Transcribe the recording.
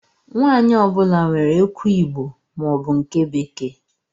Nwanyi ọ bula nwèrè ekwụ igbo ma ọ bu nke bekee.